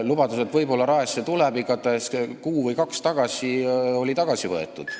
Lubadus, et võib-olla Raele kool tuleb, oli kuu või kahe eest igatahes tagasi võetud.